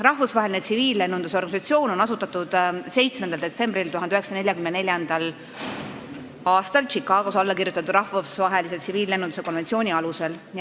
Rahvusvaheline Tsiviillennunduse Organisatsioon on asutatud 7. detsembril 1944. aastal Chicagos alla kirjutatud rahvusvahelise tsiviillennunduse konventsiooni alusel.